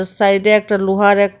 সাইডে একটা লোহার এক--